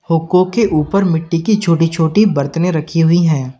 हुको के ऊपर मिट्टी की छोटी छोटी बरतने रखी हुई हैं।